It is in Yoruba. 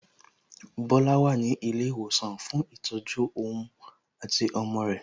Bola wà ní ilé ìwòsàn fún ìtọ́jú ohun àti ọmọ rẹ̀